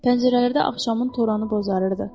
Pəncərələrdə axşamın toranı bozarırdı.